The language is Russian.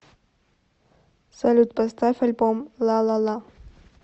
салют поставь альбом ла ла ла